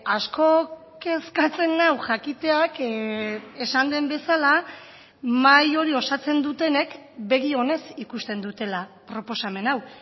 asko kezkatzen nau jakiteak esan den bezala mahai hori osatzen dutenek begi onez ikusten dutela proposamen hau